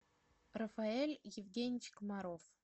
рафаэль евгеньевич комаров